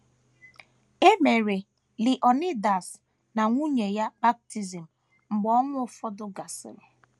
E mere Leonidas na na nwunye ya baptism mgbe ọnwa ụfọdụ gasịrị.